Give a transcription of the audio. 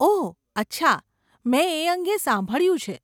ઓહ, અચ્છા, મેં એ અંગે સાંભળ્યું છે.